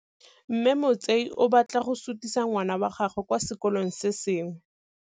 Mme Motsei o batla go sutisa ngwana wa gagwe kwa sekolong se sengwe.